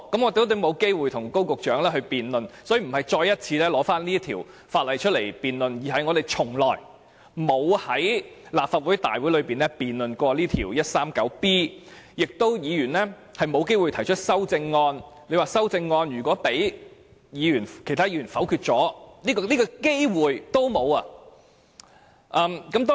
我們今天不是提出要再次辯論這項修訂規例，而是我們在立法會大會上未有機會就第 139B 章進行辯論，議員也沒有機會提出修正案，連修正案被其他議員否決的機會也沒有。